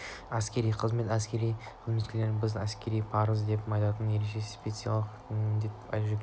әскери қызмет әскери қызметшілерге біз әскери парыз деп айтатын ерекше спецификалық міндет жүктейді